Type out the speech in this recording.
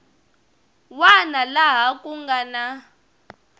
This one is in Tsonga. wana laha ku nga na